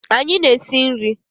anyi na-esi nri